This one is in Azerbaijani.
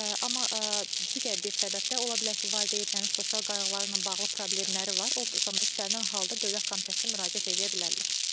Amma digər bir səbəb də, ola bilər ki, valideynlərin sosial qayğılarla bağlı problemləri var, o zaman istənilən halda Dövlət Komitəsinə müraciət eləyə bilərlər.